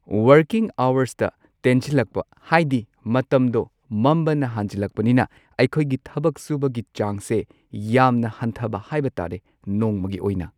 working ꯑꯋꯔꯁꯇ ꯇꯦꯟꯁꯤꯜꯂꯛꯄ ꯍꯥꯏꯗꯤ ꯃꯇꯝꯗꯣ ꯃꯝꯕꯅ ꯍꯥꯟꯖꯤꯜꯂꯛꯄꯅꯤꯅ ꯑꯩꯈꯣꯏꯒꯤ ꯊꯕꯛ ꯁꯨꯕꯒꯤ ꯆꯥꯡꯁꯦ ꯌꯥꯝꯅ ꯍꯟꯊꯕ ꯍꯥꯏꯕ ꯇꯥꯔꯦ ꯅꯣꯡꯃꯒꯤ ꯑꯣꯏꯅ